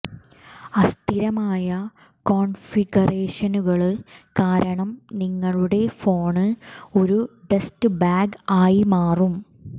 അസ്ഥിരമായ കോണ്ഫിഗറേഷനുകള് കാരണം നിങ്ങളുടെ ഫോണ് ഒരു ഡസ്റ്റ് ബാഗ് ആയി മാറാം